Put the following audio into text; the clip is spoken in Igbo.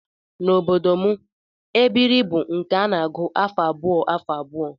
N'obodo m, ebiri bụ nke a na-agụ afọ abụọ afọ abụọ